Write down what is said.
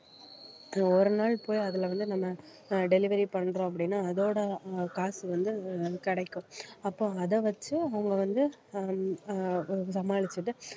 ஒரு நாள் போய் அதுல வந்து நம்ம அஹ் delivery பண்றோம் அப்படின்னா அதோட அஹ் காசு வந்து கிடைக்கும் அப்போ அதை வச்சு அவங்க வந்து ஆஹ் அஹ் சமாளிச்சிட்டு